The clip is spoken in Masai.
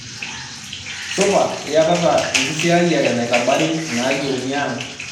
supa iyatata enkisiayiare naitabari inaayieuni ang'